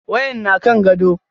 Wayan na kan gado.